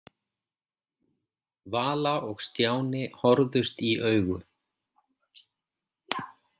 Vala og Stjáni horfðust í augu.